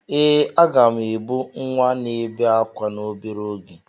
Ee, a ga m ebu nwa na-ebe ákwá n'obere oge.